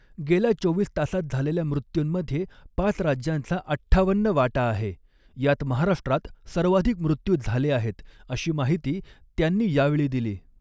गेल्या चोवीस तासात झालेल्या मृत्यूंमध्ये पाच राज्यांचा अठ्ठावन्न वाटा आहे, यात महाराष्ट्रात सर्वाधिक मृत्यू झाले आहेत, अशी माहिती त्यांनी यावेळी दिली.